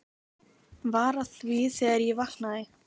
Var að því þegar ég vaknaði.